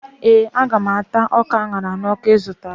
Ee, Aga m ata ọka a ṅara n'ọkụ ị zụtara